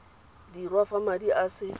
dirwa fa madi a se